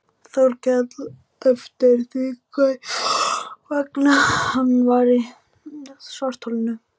Þórkel eftir því hvers vegna hann væri í svartholinu.